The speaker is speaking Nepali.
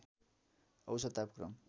औषत तापक्रम